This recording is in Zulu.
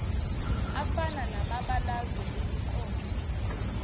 afana namabalazwe emiqondo